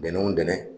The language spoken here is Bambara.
Bɛnɛw dɛmɛ